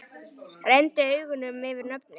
Renndi augunum yfir nöfnin.